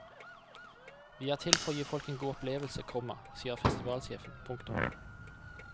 Vi er til for å gi folk en god opplevelse, komma sier festivalsjefen. punktum